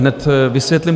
Hned vysvětlím.